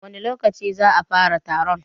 wani lokaci za'a fara taron?